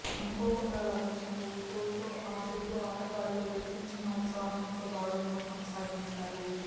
అనుకోకుండా లభించిన ఈ గోల్తో ఆ జట్టు ఆటగాళ్లు రెట్టించిన ఉత్సాహంతో దాడులను కొనసాగించారు